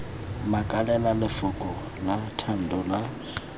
makalela lefoko la thando la